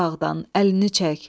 Qarabağdan əlini çək.